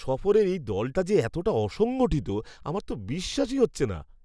সফরের এই দলটা যে এতটা অসংগঠিত আমার তো বিশ্বাসই হচ্ছে না।